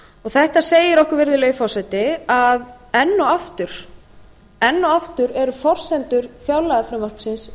þetta segir okkur virðulegi forseti að enn og aftur eru forsendur fjárlagafrumvarpsins